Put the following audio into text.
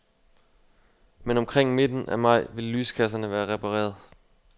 Men omkring midten af maj vil lyskasserne være repareret.